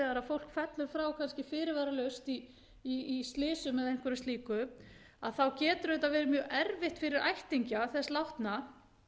kannski fyrirvaralaust í slysum eða einhverju slíku þá getur auðvitað verið mjög erfitt fyrir ættingja þess látna